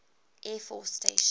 air force station